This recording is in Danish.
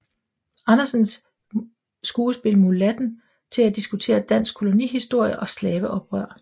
Andersens skuespil Mulatten til at diskutere dansk kolonihistorie og slaveoprør